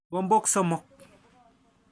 Kikombok somok.